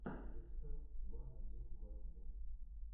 викстар ван один два три